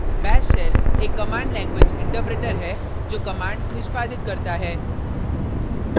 * bash shell एक command language interpreter है जो commands निष्पादित करता है